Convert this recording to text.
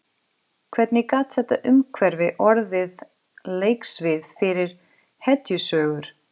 Hvernig gat þetta umhverfi orðið leiksvið fyrir hetjusögur?